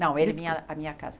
Não, ele vinha à minha casa.